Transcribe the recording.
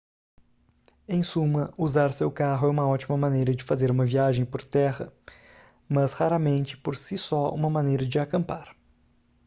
em suma usar seu carro é uma ótima maneira de fazer uma viagem por terra mas raramente por si só uma maneira de acampar